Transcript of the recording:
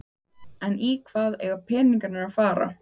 En í hvað eiga peningarnir að fara?